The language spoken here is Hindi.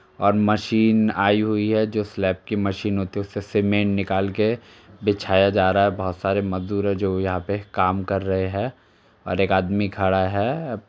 और मशीन आई हुई है जो स्लैप की मशीन होती है। उससे सीमेंट निकाल के बिछाया जा रहा है बहुत सारे मजदूर हैं जो यहाँं पर काम कर रहे हैं और एक आदमी खड़ा है।